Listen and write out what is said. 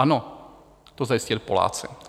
Ano, to zajistili Poláci.